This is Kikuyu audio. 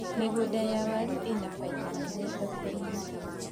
mĩgũnda ya waru ina baida nene thokĩ-inĩ